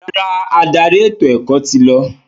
Rárá, adarí ètò-ẹ̀kọ́ ti lọ.